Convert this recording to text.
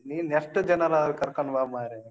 ನೀನ್ ಎಷ್ಟು ಜನರಾದ್ರು ಕರ್ಕೊಂಡು ಬಾ ಮಾರ್ರೆ.